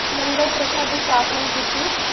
ਲੰਗਰ ਪ੍ਰਥਾ ਦੀ ਸਪਨਾ ਕਿੱਟੀ